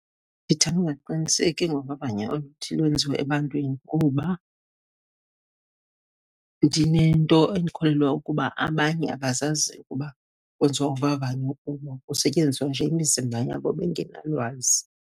Ndithanda ukungaqiniseki ngovavanyo oluthi lwenziwe ebantwini kuba ndinento ekholelwa ukuba abanye abazazi ukuba kwenziwa uvavanyo kubo, kusetyenziswa nje imizimba yabo bengenalwazi.